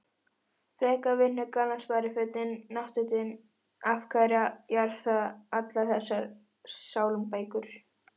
frekar vinnugallann sparifötin náttfötin af hverju jarða allar þessar sálmabækur?